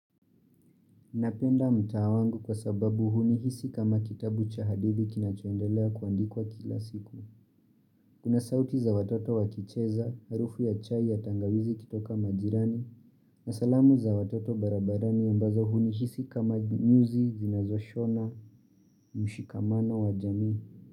Napenda mtaa wangu kwa sababu hunihisi kama kitabu cha hadithi kinachoendelea kuandikwa kila siku. Kuna sauti za watoto wakicheza, harufu ya chai ya tangawizi ikitoka majirani, na salamu za watoto barabarani ambazo hunihisi kama nyuzi, zinazoshona, mshikamano wa jamii.